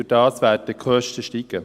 Dadurch werden die Kosten steigen.